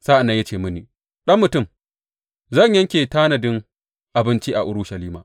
Sa’an nan ya ce mini, Ɗan mutum, zan yanke tanadin abinci a Urushalima.